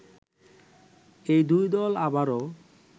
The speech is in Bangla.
এই দুই দল আবারো